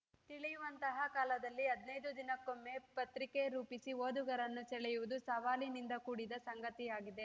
ತಿಳಿಯುವಂತಹ ಕಾಲದಲ್ಲಿ ಹದಿನೈದು ದಿನಕ್ಕೊಮ್ಮೆ ಪತ್ರಿಕೆ ರೂಪಿಸಿ ಓದುಗರನ್ನು ಸೆಳೆಯುವುದು ಸವಾಲಿನಿಂದ ಕೂಡಿದ ಸಂಗತಿಯಾಗಿದೆ